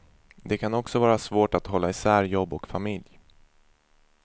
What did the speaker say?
Det kan också vara svårt att hålla isär jobb och familj.